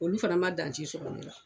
Olu fana ma dansi sɔrɔ n na